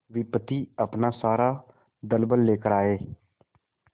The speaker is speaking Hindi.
विपत्ति अपना सारा दलबल लेकर आए